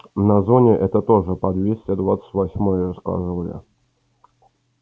на зоне это тоже по двести двадцать восьмой рассказывали